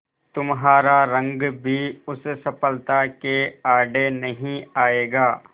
तुम्हारा रंग भी उस सफलता के आड़े नहीं आएगा